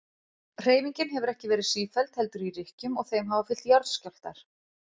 Hreyfingin hefur ekki verið sífelld heldur í rykkjum og þeim hafa fylgt jarðskjálftar.